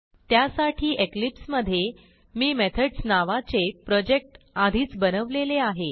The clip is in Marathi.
त्यासाठी इक्लिप्स मधे मी मेथड्स नावाचे प्रोजेक्ट आधीच बनवलेले आहे